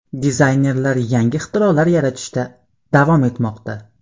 Dizaynerlar yangi ixtirolar yaratishda davom etmoqda.